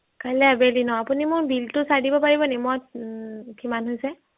কাইলে আবেলি ন আপুনি মোৰ bill টো চাই দিব পৰিবনি মই উম কিমান হৈছে